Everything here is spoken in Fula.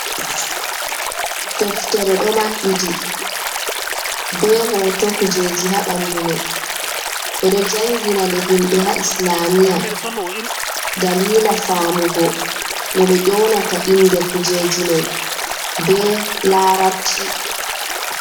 Deftere ɗo mabɓiti, be hoto kujeji ha ɓandu mai. Ɓe ɗo do jangina nde himɓe ha islamiya, dalila faamugo no ɓe ƴonata inde kuujeji mai be larabci.